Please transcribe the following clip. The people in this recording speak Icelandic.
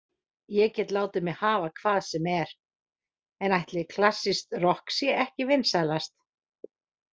Ég get látið mig hafa hvað sem er, en ætli klassískt rokk sé ekki vinsælast